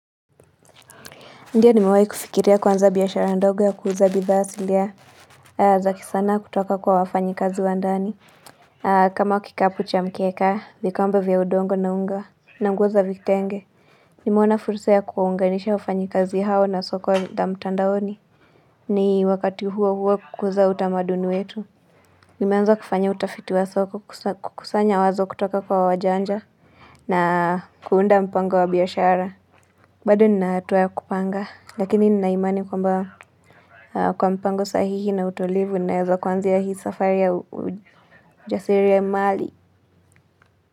Ndio nimewai kufikiria kuanza biashara ndogo ya kuuza bidhaa asili ya za kisanaa kutoka kwa wafanyikazi wa ndani kama kikapu cha mkeka, vikombe vya udongo na unga na nguo za vitenge Nimeona furusa ya kuwaunganisha wafanyikazi hao na soko za mtandaoni ni wakati huo huo kukuza utamaduni wetu Nimeanza kufanya utafiti wa soko kukusanya wazo kutoka kwa wajanja na kuunda mpango wa biashara bado nina hatua ya kupanga, lakini nina imani kwamba kwa mpango sahihi na utulivu, ninaeza kuanzia hii safari ya ujasirimali.